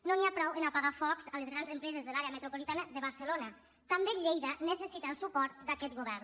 no n’hi ha prou a apagar focs a les grans empreses de l’àrea metropolitana de barcelona també lleida necessita el suport d’aquest govern